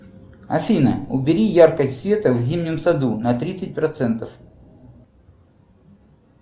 афина убери яркость света в зимнем саду на тридцать процентов